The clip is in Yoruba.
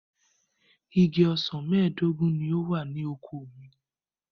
Igi ọsàn mẹ́ẹ̀dógún ni ó wà ní oko mi.